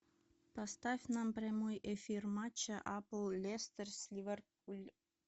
поставь нам прямой эфир матча апл лестер с ливерпуль